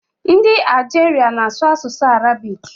Ndị Algeria na-asụ asụsụ Arabic.